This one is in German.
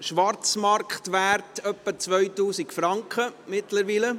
der Schwarzmarktwert liegt inzwischen bei etwa 2000 Franken.